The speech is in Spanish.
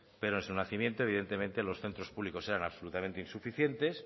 pero en su nacimiento evidentemente los centros públicos eran absolutamente insuficientes